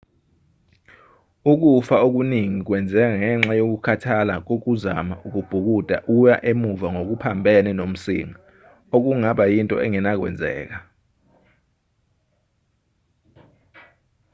ukufa okuningi kwenzeka ngenxa yokukhathala kokuzama ukubhukuda uya emuva ngokuphambene nomsinga okungaba yinto engenakwenzeka